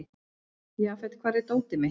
Jafet, hvar er dótið mitt?